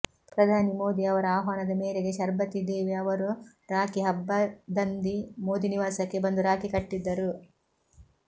ಪ್ರಧಾನಿ ಮೋದಿ ಅವರ ಆಹ್ವಾನದ ಮೇರೆಗೆ ಶರ್ಬತಿ ದೇವಿ ಅವರು ರಾಖಿ ಹಬ್ಬದಂದಿ ಮೋದಿ ನಿವಾಸಕ್ಕೆ ಬಂದು ರಾಖಿ ಕಟ್ಟಿದ್ದರು